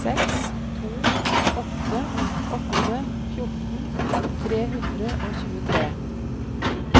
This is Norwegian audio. seks to åtte åtte fjorten tre hundre og tjuetre